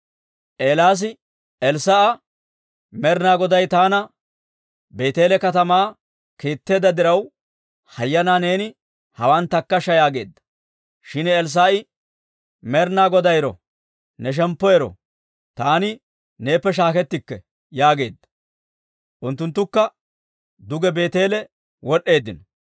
Eelaasi Elssaa'a, «Med'ina Goday taana Beeteele katamaa kiitteedda diraw, hayyanaa neeni hawaan takkashsha» yaageedda. Shin Elssaa'i, «Med'ina Goday ero! Ne shemppu ero! Taani neeppe shaakkettikke» yaageedda. Unttunttukka duge Beeteele wod'd'eeddino.